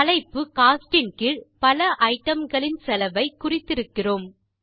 தலைப்பு கோஸ்ட் இன் கீழ் பல ஐட்டம் களின் செலவை குறித்திருக்கிறோம்